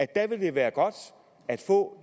dér ville være godt at få